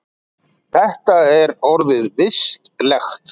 Það er orðið vistlegt.